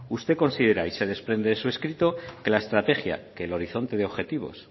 usted considera y se desprende de su escrito que la estrategia que el horizonte de objetivos